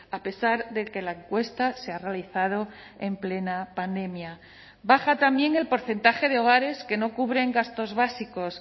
a pesar de que la encuesta se ha realizado en plena pandemia baja también el porcentaje de hogares que no cubren gastos básicos